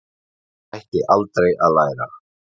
Ég hætti aldrei að læra.